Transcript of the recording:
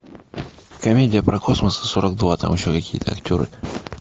комедия про космос и сорок два там еще какие то актеры